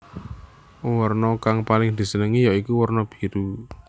Werna kang paling disenengi ya iku werna biru